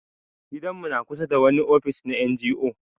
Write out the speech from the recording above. Gidan mu na kusa da wani ofis na NGO.